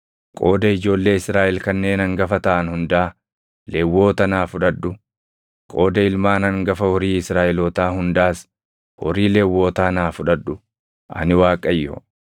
Qooda ijoollee Israaʼel kanneen hangafa taʼan hundaa Lewwota naa fudhadhu; qooda ilmaan hangafa horii Israaʼelootaa hundaas horii Lewwotaa naa fudhadhu. Ani Waaqayyo.”